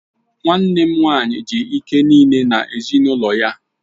Nwanne m nwaanyị ji ike niile na ezinụlọ ya.